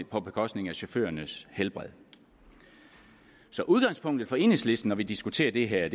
på bekostning af chaufførernes helbred så udgangspunktet for enhedslisten når vi diskuterer det her